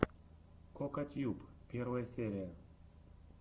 кокатьюб первая серия